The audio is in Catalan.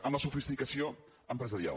en la sofisticació empresarial